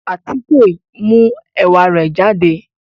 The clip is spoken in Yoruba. Àtike n mu ẹ̀wà re jàdé